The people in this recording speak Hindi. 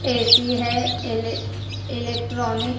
ए_सी है इलेक इलेक्ट्रॉनिक।